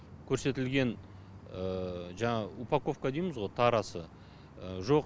көрсетілген жаңағы упаковка дейміз ғо тарасы жоқ